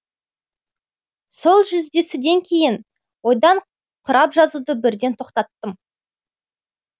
сол жүздесуден кейін ойдан құрап жазуды бірден тоқтаттым